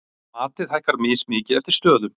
Matið hækkar mismikið eftir stöðum.